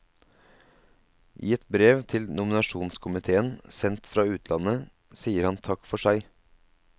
I et brev til nominasjonskomitéen, sendt fra utlandet, sier han takk for seg.